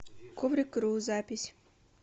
коврик ру запись